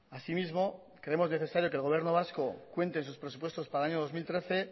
asimismo creemos necesario que el gobierno vasco cuente en sus presupuestos para el año dos mil trece